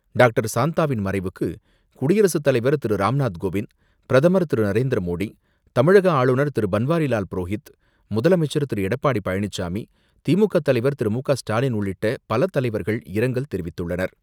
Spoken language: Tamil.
டாக்டர் சாந்தாவின் மறைவுக்கு குடியரசுத் தலைவர் திருராம்நாத் கோவிந்த், பிரதமர் திரு நரேந்திர மோடி, தமிழக ஆளுநர் திருபன்வாரிலால் புரோஹித், முதலமைச்சர் திரு எடப்பாடி பழனிசாமி, திமுக தலைவர் திரு மு.க.ஸ்டாலின் உள்ளிட்ட பல தலைவர்கள் இரங்கல் தெரிவித்துள்ளனர்.